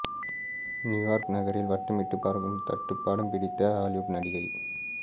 New York நகரில் வட்டமிட்ட பறக்கும் தட்டு படம் பிடித்த ஹாலிவுட் நடிகை